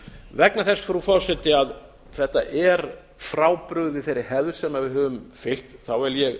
vegna þess frú forseti að þetta er frábrugðið þeirri hefð sem við höfum heyrt vil ég